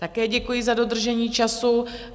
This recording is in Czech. Také děkuji za dodržení času.